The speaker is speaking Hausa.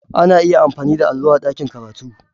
Ana iya amfani da allo a ɗakin karatu.